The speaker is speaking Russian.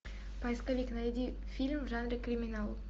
поисковик найди фильм в жанре криминал